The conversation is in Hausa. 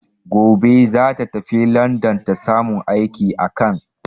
Gobe za ta tafi landan, ta samu aiki a can.